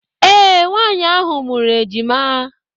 Ee, Nwaanyị ahụ mụrụ ejima.